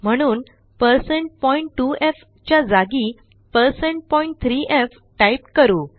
म्हणून1602f च्या जागी1603f टाईप करू